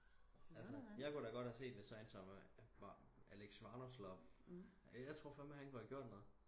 altså jeg kunne da godt have set hvis sådan en som alex vanopslagh jeg tror fandme han kunne have gjort noget